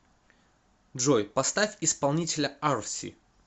джой поставь исполнителя арси